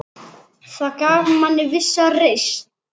Það gaf manni vissa reisn.